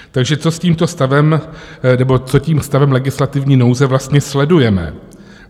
Takže co s tímto stavem, nebo co tím stavem legislativní nouze vlastně sledujeme?